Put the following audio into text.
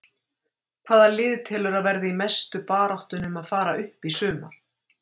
Hvaða lið telurðu að verði í mestu baráttunni um að fara upp í sumar?